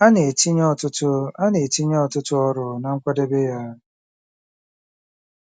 A na-etinye ọtụtụ A na-etinye ọtụtụ ọrụ na nkwadebe ya.